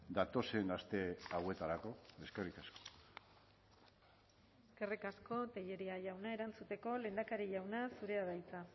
datozen aste hauetarako eskerrik asko eskerrik asko tellería jauna erantzuteko lehendakari jauna zurea da hitza